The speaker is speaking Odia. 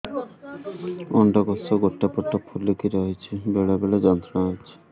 ଅଣ୍ଡକୋଷ ଗୋଟେ ପଟ ଫୁଲିକି ରହଛି ବେଳେ ବେଳେ ଯନ୍ତ୍ରଣା ହେଉଛି